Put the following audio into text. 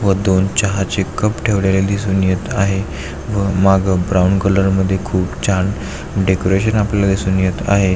व दोन चहा चे कप ठेवलेले दिसून येत आहेत व माग ब्राऊन कलर मध्ये खूप छान डेकोरेशन आपल्याला दिसून येत आहे.